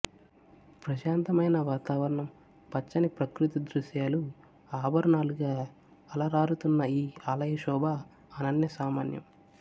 ప్రశాంతమైన వాతావరణం పచ్చని ప్రకృతి దృశ్యాలు ఆభరణాలుగా అలరారుతున్న ఈ ఆలయ శోభ అనన్య సామాన్యం